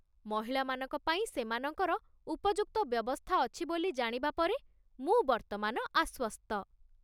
ମହିଳାମାନଙ୍କ ପାଇଁ ସେମାନଙ୍କର ଉପଯୁକ୍ତ ବ୍ୟବସ୍ଥା ଅଛି ବୋଲି ଜାଣିବା ପରେ ମୁଁ ବର୍ତ୍ତମାନ ଆଶ୍ୱସ୍ତ।